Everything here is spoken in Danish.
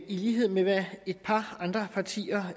i lighed med hvad et par andre partier har